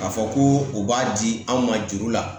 K'a fɔ ko u b'a di anw ma juru la